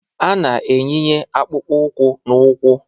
A na-eyinye akpụkpọ ụkwụ n'ụkwụ